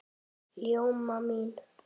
Ljóma mín!